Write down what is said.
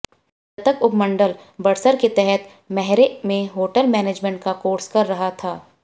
मृतक उपमंडल बड़सर के तहत मैहरे में होटल मैनेजमेंट का कोर्स कर रहा था